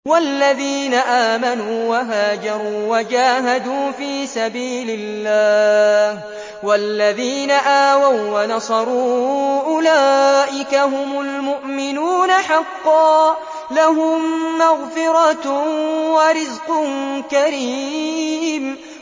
وَالَّذِينَ آمَنُوا وَهَاجَرُوا وَجَاهَدُوا فِي سَبِيلِ اللَّهِ وَالَّذِينَ آوَوا وَّنَصَرُوا أُولَٰئِكَ هُمُ الْمُؤْمِنُونَ حَقًّا ۚ لَّهُم مَّغْفِرَةٌ وَرِزْقٌ كَرِيمٌ